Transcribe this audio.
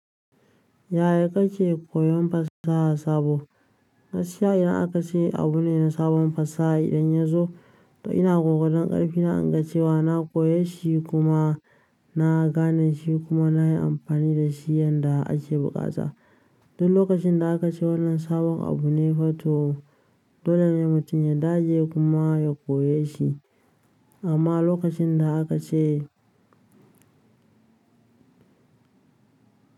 Yaya kake koyon fasaha sabo? Gaskiya idan aka ce abu ne na sabon fasaha idan ya zo, toh ina ƙoƙarin ƙarfi na inga cewa na koyi shi kuma na gane shi kuma na yi amfani da shi yanda ake buƙata. Don lokacin da aka ce wannan sabon abu ne, fa toh dole ne mutum ya dage kuma ya koyi shi. Amma lokacin da aka ce.